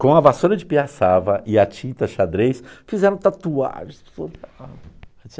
Com a vassoura de piaçava e a tinta xadrez, fizeram tatuagem.